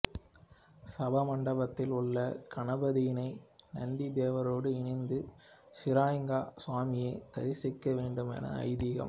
சபாமண்டபத்தில் உள்ள கணபதியினை நந்திதேவரோடு இணைந்து ஷுரலிங்க ஸ்வாமியை தரிசிக்க வேண்டும் என ஐதீகம்